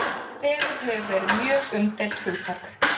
Fegurð hefur verið mjög umdeilt hugtak.